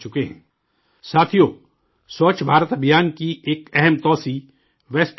ساتھیو، سووچھ بھارت ابھیان کا ایک اہم گوشہ ویسٹ ٹو ویلتھ بھی ہے